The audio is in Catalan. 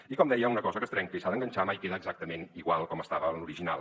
i com deia una cosa que es trenca i s’ha d’enganxar mai queda exactament igual com estava l’original